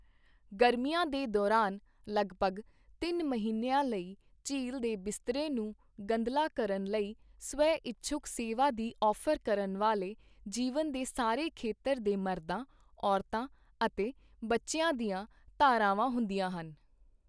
ਗਰਮੀਆਂ ਦੇ ਦੌਰਾਨ, ਲਗਪਗ ਤਿੰਨ ਮਹੀਨਿਆਂ ਲਈ ਝੀਲ ਦੇ ਬਿਸਤਰੇ ਨੂੰ ਗੰਧਲਾ ਕਰਨ ਲਈ ਸਵੈਇੱਛੁਕ ਸੇਵਾ ਦੀ ਔਫ਼ਰ ਕਰਨ ਵਾਲੇ ਜੀਵਨ ਦੇ ਸਾਰੇ ਖੇਤਰ ਦੇ ਮਰਦਾਂ, ਔਰਤਾਂ ਅਤੇ ਬੱਚਿਆਂ ਦੀਆਂ ਧਾਰਾਵਾਂ ਹੁੰਦੀਆਂ ਹਨ।